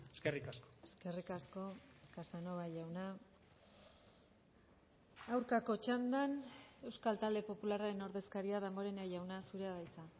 eskerrik asko eskerrik asko casanova jauna aurkako txandan euskal talde popularraren ordezkaria damborenea jauna zurea da hitza